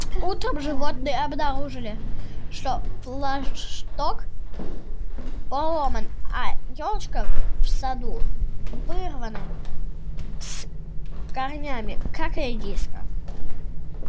утром животные обнаружили что флагшток поломан а ёлочка в саду вырвана с корнями как редиска